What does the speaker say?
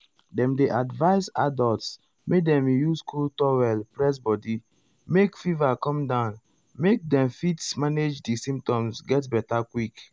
dem dey advise adults make dem use cold towel press body make fever come down make dem fit manage di symptoms get beta quick.